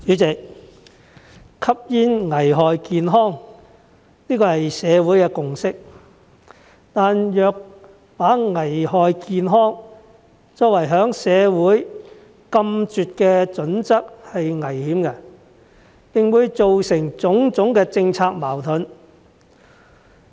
主席，吸煙危害健康，這是社會的共識，但若把危害健康作為在社會禁絕的準則是危險的，並會做成種種的政策矛盾。